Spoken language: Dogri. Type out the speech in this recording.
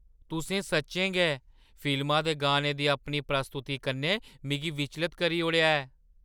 तुसें सच्चें गै फिल्मा दे गाने दी अपनी प्रस्तुति कन्नै मिगी विचलत करी ओड़ेआ ऐ!